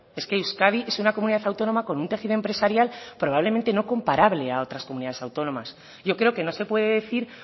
es que euskadi es una comunidad autónoma con un tejido empresarial probablemente no comparable a otras comunidades autónomas yo creo que no se puede decir